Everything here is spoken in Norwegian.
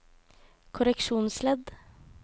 korreksjonsledd